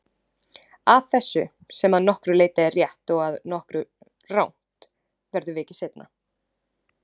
Að þessu, sem að nokkru leyti er rétt og að nokkru rangt, verður vikið seinna.